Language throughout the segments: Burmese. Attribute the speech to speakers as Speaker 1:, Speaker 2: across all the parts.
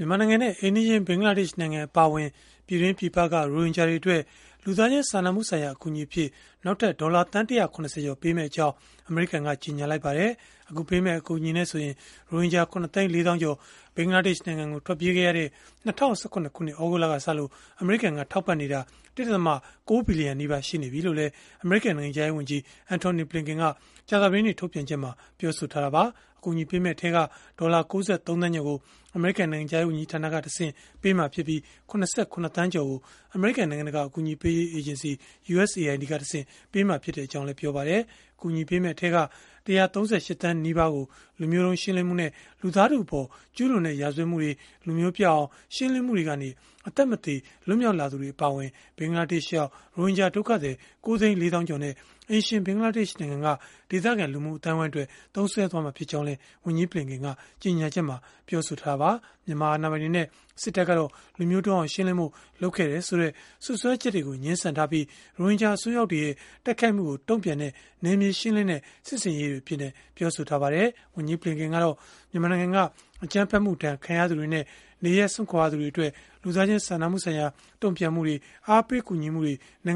Speaker 1: မြန်မာနိုင်ငံနဲ့ အိမ်နီးချင်း ဘင်္ဂလားဒေ့ရှ်နိုင်ငံ အပါအဝင် ပြည်တွင်း၊ ပြည်ပက ရိုဟင်ဂျာတွေအတွက် လူသားချင်းစာနာမှုဆိုင်ရာ အကူအညီအဖြစ် နောက်ထပ် ဒေါ်လာသန်း ၁၇၀ ကျော်ပေးအပ်မယ့်အကြောင်း အမေရိကန်က ကြေညာလိုက်ပါတယ်။ အခုနောက်ဆုံး ပေးအပ်မယ့် အကူအညီနဲ့ပါဆိုရင် ရိုဟင်ဂျာ ၇ သိန်း ၄ သောင်းကျော် ဘင်္ဂလားဒေ့ရှ်နိုင်ငံကို ထွက်ပြေးခဲ့ရတဲ့ ၂၀၁၇ ခုနှစ် သြဂုတ်လကစလို့ အမေရိကန်က ထောက်ပံ့နေတာ ၁.၉ ဘီလီယံနီးပါး ရှိနေပြီလို့လည်း အမေရိကန်နိုင်ငံခြားရေးဝန်ကြီး Antony Blinken က ကြာသပတေးနေ့ ထုတ်ပြန်ချက်မှာ ပြောဆိုခဲ့တာပါ။ နောက်ထပ် အကူအညီထဲက ဒေါ်လာ ၉၃ သန်းကျော်ကို အမေရိကန် နိုင်ငံခြားရေးဝန်ကြီးဌာနကတဆင့် ပေးအပ်မှာဖြစ်ပြီး၊ ၇၇ သန်းကျော်ကိုတော့ အမေရိကန် နိုင်ငံတကာ အကူအညီပေးရေး အေဂျင်စီ (USAID) ကတဆင့် ပေးအပ်မှာ ဖြစ်ကြောင်းလည်း ပြောပါတယ်။ အကူအညီပေးမယ့်အထဲက ၁၃၈ သန်း နီးပါးကိုတော့ လူမျိုးတုန်းရှင်းလင်းမှုနဲ့ လူသားထုအပေါ် ကျုးလွန်တဲ့ ရာဇဝတ်မှုတွေ၊ လူမျိုးပျောက်အောင် ရှင်းလင်းမှုတွေကနေ အသက်မသေ လွတ်မြောက်လာသူတွေ အပါအဝင် ဘင်္ဂလားဒေ့ရှ်ရောက် ရိုဟင်ဂျာဒုက္ခသည် ၉ သိန်း ၄ သောင်းကျော်နဲ့ အိမ်ရှင် ဘင်္ဂလားဒေ့ရှ်နိုင်ငံက ဒေသခံ လူမှုအသိုင်းအဝိုင်းအတွက် သုံးစွဲသွားမှာ ဖြစ်ကြောင်းလည်း ဝန်ကြီးဘလင်ကန်က ကြေညာချက်မှာ ပြောဆိုထားတာပါ။ မြန်မာအာဏာပိုင်တွေနဲ့ စစ်တပ်ကတော့ လူမျိုးတုန်းအောင် ရှင်းလင်းဖို့ လုပ်ခဲ့တယ်ဆိုတဲ့ စွပ်စွဲချက်တွေကို ငြင်းဆန်ထားပြီး၊ ရိုဟင်ဂျာအစွန်းရောက်တွေရဲ့ တိုက်ခိုက်မှုကို တုံ့ပြန်တဲ့ နယ်မြေရှင်းလင်းတဲ့ စစ်ဆင်ရေးတွေအဖြစ် ပြောဆိုထားပါတယ်။ အမေရိကန်နိုင်ငံခြားရေးဝန်ကြီး ဘလင်ကန်ကတော့ မြန်မာနိုင်ငံက အကြမ်းဖက်မှုဒဏ် ခံရသူတွေနဲ့ နေရပ်စွန့်ကြရသူတွေအတွက် လူသားချင်းစာနာမှုဆိုင်ရာ တုံ့ပြန်မှုတွေ၊ အားပေးကူညီမှုတွေ အ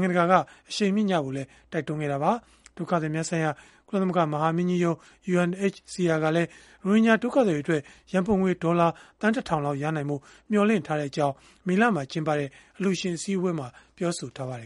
Speaker 1: ရှိန်မြှင့်ကြဖို့လည်း တိုက်တွန်းခဲ့တာပါ။ ဒုက္ခသည်များဆိုင်ရာ ကုလသမဂ္ဂ မဟာမင်းကြီးရုံး (UNHCR) ကတော့ ရိုဟင်ဂျာဒုက္ခသည်တွေအတွက် ရန်ပုံငွေ ဒေါ်လာသန်း ၁ ထောင်လောက် ရရှိနိုင်ဖို့ မျှော်လင့်ထားကြောင်း မေလမှာ ကျင်းပခဲ့တဲ့ အလှူရှင်အစည်းအဝေးမှာ ပြောဆိုထားပါတယ်